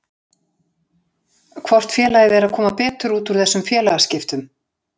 Hvort félagið er að koma betur út úr þessum félagaskiptum?